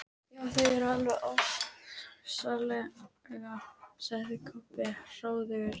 Já, þau eru alveg ofsaleg, sagði Kobbi hróðugur.